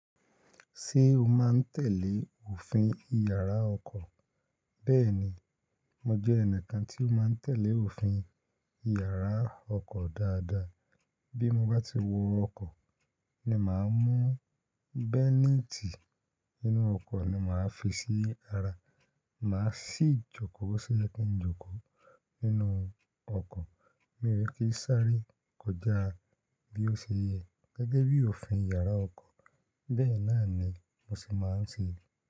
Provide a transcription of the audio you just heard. Ṣé o máa ń tẹ̀lé òfin Ìyàrá ọkọ̀? Bẹ́ẹ̀ni, mo jẹ ẹnìkan tí ó máa ń tẹ̀lé òfin Ìyàrá ọkọ̀ dáadáa. Bí mo bá ti wọ ọkọ̀ ni màá mú bẹ́nítì inú ọkọ̀ ni màá fi sí ara. Màá sì jókòó sí ẹkùn ìjókòó nínú ọkọ̀. Mi ò ní kí sáré kọjá bí ó ṣe yẹ gẹ́gẹ́ bí òfin Ìyàrá ọkọ̀. Bẹ́ẹ̀ náà ni mo sì máa ń ṣe.